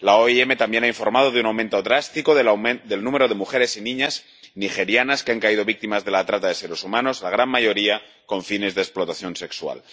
La OIM también ha informado de un aumento drástico del número de mujeres y niñas nigerianas que han caído víctimas de la trata de seres humanos, la gran mayoría con fines de explotación sexual.